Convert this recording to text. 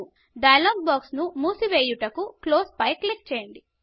dialogue box ను మూసి వెయ్యుటకు క్లోజ్ పై క్లిక్ చేయండి